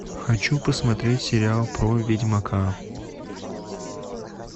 хочу посмотреть сериал про ведьмака